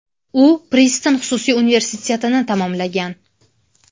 U Priston xususiy universitetini tamomlagan.